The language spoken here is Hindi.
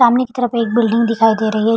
सामने की तरफ एक बिल्डिंग दिखाई दे रही है।